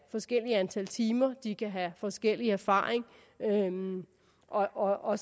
forskelligt antal timer de kan have forskellig erfaring og og